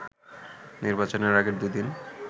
নির্বাচনের আগের দুই দিন